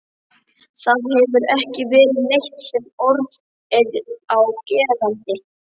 Það hefur ekki verið neitt sem orð er á gerandi.